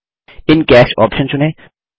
इन cash option चुनें